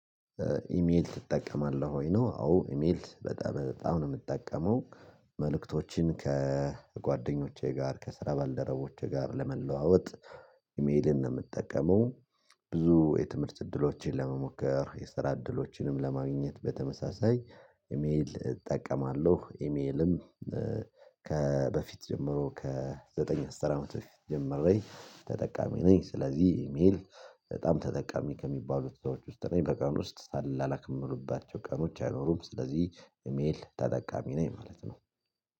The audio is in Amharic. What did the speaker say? ኢሜል ትጠቀማለህ ወይ ነው? አዎ ኢሜል በጣም በጣም ነው የምጠቀመው። መልእክቶችን ከጓደኞቼ ጋር ከስራ ባልደረቦቼ ጋር ለመለዋወጥ። ኢሜልን ነው የምጠቀመው። ብዙ የትምህርት እድሎችን ለመሞከር የስራ እድሎችንም ለማግኘት በተመሳሳይ ኢሜል እጠቀማለሁ። ኢሜልም ከበፊት ጀምሮ ከዘጠኝ አስራ አመት ጀመረኝ ተጠቃሚ ነኝ። ስለዚህ ኢሜል በጣም ተጠቃሚ ከሚባሉት ሰዎች ውስጥ ነኝ በቀን ውስጥ ሳልላላክ ምውልባቸው ቀኖች አይኖሩም። ስለዚህ ኢሜል ተጠቃሚ ነኝ ማለት ነው